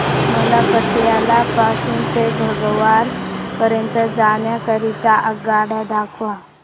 मला पटियाला पासून ते फगवारा पर्यंत जाण्या करीता आगगाड्या दाखवा